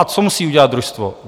A co musí udělat družstvo?